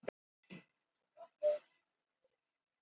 Henrik sá ekkert að þessu.